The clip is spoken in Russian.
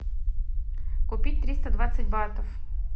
купить триста двадцать батов